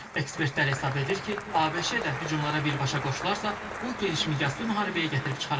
Ekspertlər hesab edir ki, ABŞ da hücumlara birbaşa qoşularsa, bu genişmiqyaslı müharibəyə gətirib çıxaracaq.